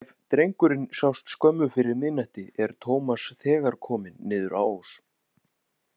Ef drengurinn sást skömmu fyrir miðnætti er Tómas þegar kominn niður á Ós.